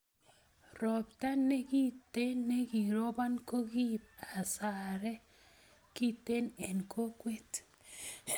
ropta nekintee nekirobon kokiibu hasaree kintee en kokwee